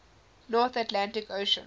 north atlantic ocean